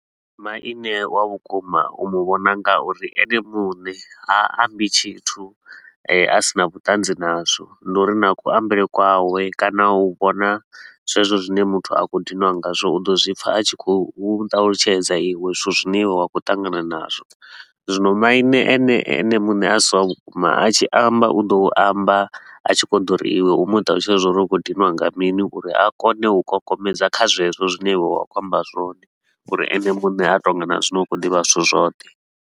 Maine wa vhukuma u mu vhona ngauri ene muṋe ha ambi tshithu a sina vhuṱanzi nazwo. Ndi uri na kuambele kwawe kana u vhona zwezwo zwine muthu a khou dinwa ngazwo, u ḓo zwi pfa a tshi khou ṱalutshedza iwe zwithu zwine wa khou ṱangana nazwo. Zwino maine ene ene muṋe a si wa vhukuma a tshi amba u ḓo amba a tshi khou ḓo ri iwe u mu ṱalutshedze uri u khou diniwa nga mini uri a kone u kokomedza kha zwezwo zwine iwe wa khou amba zwone uri ene muṋe a tou nga na zwino u khou ḓivha zwithu zwoṱhe.